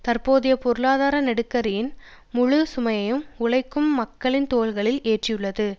தற்போதைய பொருளாதார நெருக்கடியின் முழு சுமையையும் உழைக்கும் மக்களின் தோள்களில் ஏற்றியுள்ளது